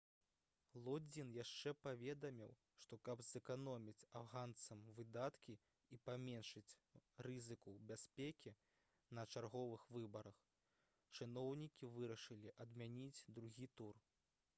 лодзін яшчэ паведаміў што каб зэканоміць афганцам выдаткі і паменшыць рызыку бяспекі на чарговых выбарах чыноўнікі вырашылі адмяніць другі тур